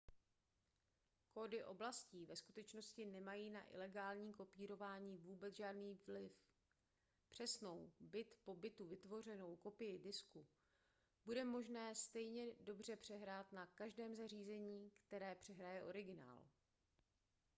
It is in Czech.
kódy oblastí ve skutečnosti nemají na ilegální kopírování vůbec žádný vliv přesnou bit po bitu vytvořenou kopii disku bude možné stejně dobře přehrát na každém zařízení které přehraje originál